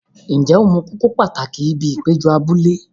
Ǹjẹ́ o mọ kókó pàtàkì ibi ìpéjọ abúlé?